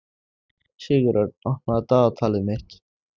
Sigurörn, opnaðu dagatalið mitt.